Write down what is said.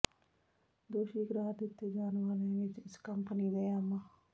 ਦੋਸ਼ੀ ਕਰਾਰ ਦਿੱਤੇ ਜਾਣ ਵਾਲਿਆਂ ਵਿੱਚ ਇਸ ਕੰਪਨੀ ਦੇ ਐਮ